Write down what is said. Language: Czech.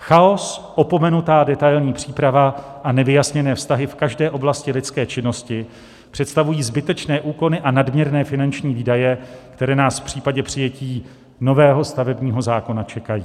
Chaos, opomenutá detailní příprava a nevyjasněné vztahy v každé oblasti lidské činnosti představují zbytečné úkony a nadměrné finanční výdaje, které nás v případě přijetí nového stavebního zákona čekají.